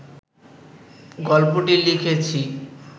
গল্পটি লিখেছি